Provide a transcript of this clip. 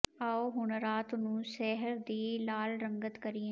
ਆਓ ਹੁਣ ਰਾਤ ਨੂੰ ਸ਼ਹਿਰ ਦੀ ਲਾਲ ਰੰਗਤ ਕਰੀਏ